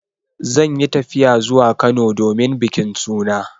Zan yi tafiya zuwa Kano domin bikin suna.